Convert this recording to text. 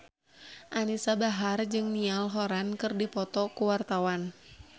Anisa Bahar jeung Niall Horran keur dipoto ku wartawan